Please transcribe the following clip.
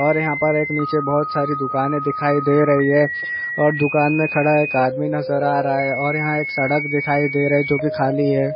और यहां पर एक नीचे बहुत सारी दुकान दिखाई दे रही है और दुकान में खड़ा एक आदमी नजर आ रहा है और यहां एक सड़क दिखाई दे रहा है जो कि खाली है।